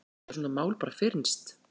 Geta svona mál bara fyrnst?